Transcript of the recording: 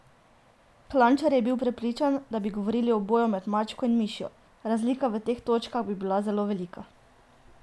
Klančar je prepričan, da bi govorili o boju med mačko in mišjo: "Razlika v točkah bi bila zelo velika.